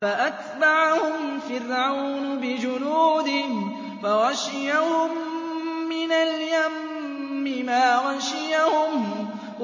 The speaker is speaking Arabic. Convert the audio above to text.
فَأَتْبَعَهُمْ فِرْعَوْنُ بِجُنُودِهِ فَغَشِيَهُم مِّنَ الْيَمِّ مَا غَشِيَهُمْ